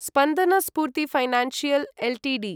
Spandana Sphoorty financial Ltd